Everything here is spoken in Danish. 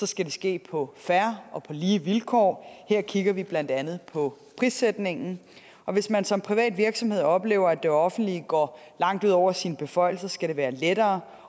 skal det ske på fair og på lige vilkår og her kigger vi blandt andet på prissætningen og hvis man som privat virksomhed oplever at det offentlige går langt ud over sine beføjelser skal det være lettere